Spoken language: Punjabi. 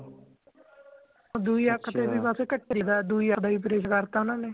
ਦੁਹਿ ਅੱਖ ਤੇ ਵੀ ਬਸ ਘਟਾ ਹੀ ਪਿਆ ਦੁਹਿ ਅੱਖ ਦਾ ਵੀ operation ਕਰਤਾ ਓਹਨਾ ਨੇ